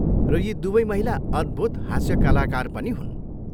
र यी दुवै महिला अद्भुत हास्य कलाकार पनि हुन्।